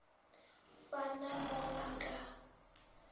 sa na mo a ka